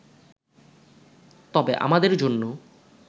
তবে আমাদের জন্য